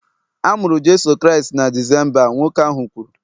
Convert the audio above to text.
A mụrụ Jeso Kraịst na Disemba, nwoke ahụ kwuru